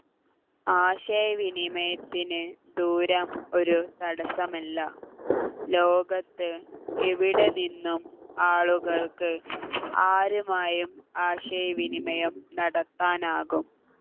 ആശയവിനിമയത്തിന് ദൂരം ഒരു തടസ്സമല്ല ലോകത്ത് എവിടെ നിന്നും ആളുകൾക്ക് ആരുമായും ആശയവിനിമയം നടത്താനാകും